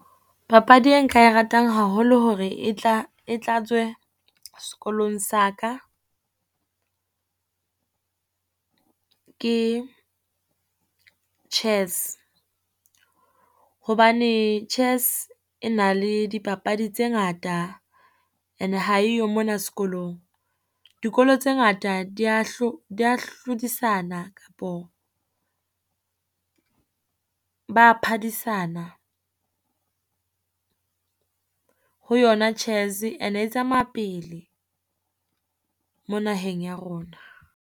Papadi e nka e ratang haholo hore e tla, e tlatswe sekolong sa ka, ke chess hobane chess e na le dipapadi tse ngata, ene ha eyo mona sekolong. Dikolo tse ngata di ya di ya hlodisana kapo ba a phadisana ho yona chess ene e tsamaya pele mo naheng ya rona.